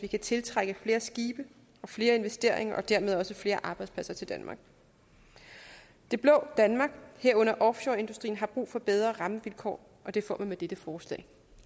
kan tiltrække flere skibe og flere investeringer og dermed også flere arbejdspladser til danmark det blå danmark herunder offshoreindustrien har brug for bedre rammevilkår og det får man med dette forslag